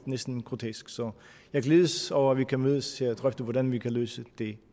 næsten grotesk så jeg glædes over at vi kan mødes og drøfte hvordan vi kan løse det